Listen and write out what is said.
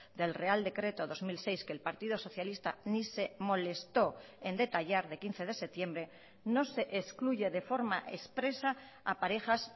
del real decreto dos mil seis que el partido socialista ni se molestó en detallar de quince de septiembre no se excluye de forma expresa a parejas